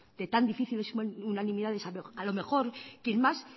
de tan difíciles unanimidades a lo mejor quien más